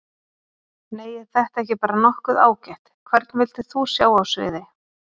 Nei er þetta ekki bara nokkuð ágætt Hvern vildir þú sjá á sviði?